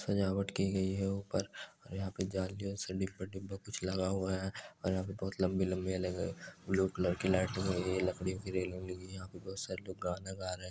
सजावट की गई है ऊपर और यहां पे जालियों से कुछ लगा हुआ है और यहां बहुत लंबी-लंबी अलग ब्लू कलर की लाइट लगी हुई है लकड़ियों की रेलिंग लगी है यहां पे बहुत सारे लोग गाना गा रहे है।